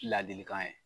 Ladilikan ye